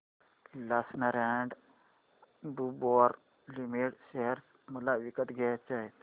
Larsen and टुर्बो limited share मला विकत घ्यायचे आहेत